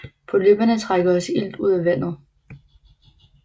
Polypperne trækker også ilt ud af vandet